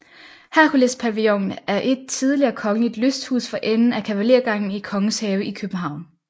Herkulespavillonen er et tidligere kongeligt lysthus for enden af Kavalergangen i Kongens Have i København